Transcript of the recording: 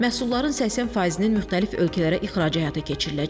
Məhsulların 80%-i müxtəlif ölkələrə ixracı həyata keçiriləcək.